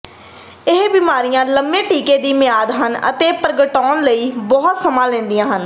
ਇਹ ਬਿਮਾਰੀਆਂ ਲੰਬੇ ਟੀਕੇ ਦੀ ਮਿਆਦ ਹਨ ਅਤੇ ਪ੍ਰਗਟਾਉਣ ਲਈ ਬਹੁਤ ਸਮਾਂ ਲੈਂਦੀਆਂ ਹਨ